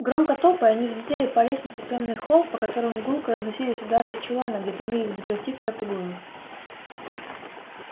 громко топая они взлетели по лестнице в тёмный холл по которому гулко разносились удары из чулана где томились взаперти крэбб и гойл